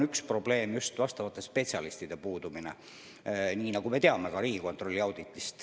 Üks probleem ongi spetsialistide puudumine, nagu me teame ka tänu Riigikontrolli auditile.